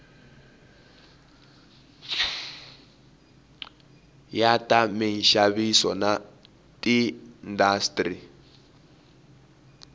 ya ta minxaviso na tiindastri